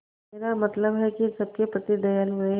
मेरा मतलब है कि सबके प्रति दयालु रहें